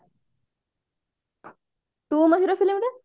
ତୁ ମୋ hero film ରେ